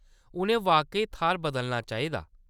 उʼनें वाकई थाह्‌‌‌र बदलना चाहिदा।